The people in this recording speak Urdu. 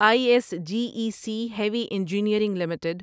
I S G E C heavy engineering limited